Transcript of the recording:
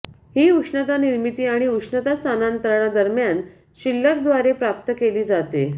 ही उष्णता निर्मिती आणि उष्णता स्थानांतरणा दरम्यान शिल्लक द्वारे प्राप्त केली जाते